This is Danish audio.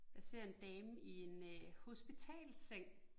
Jeg ser en dame i en øh hospitalsseng